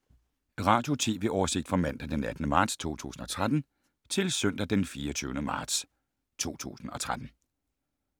Radio/TV oversigt fra mandag d. 18. marts 2013 til søndag d. 24. marts 2013